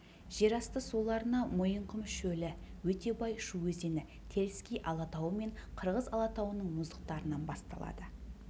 жер асты суларына мойынқұм шөлі өте бай шу өзені теріскей алатауы мен қырғыз алатауының мұздықтарынан басталады